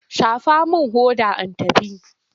Shafa min hodar in tafi!